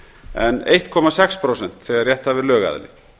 en eitt komma sex prósent þegar rétthafi er lögaðili